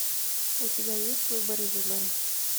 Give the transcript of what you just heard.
у тебя есть выборы выборы